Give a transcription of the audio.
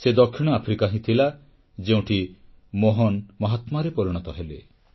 ସେ ଦକ୍ଷିଣ ଆଫ୍ରିକା ହିଁ ଥିଲା ଯେଉଁଠି ମୋହନ ମହାତ୍ମାରେ ପରିଣତ ହେଲେ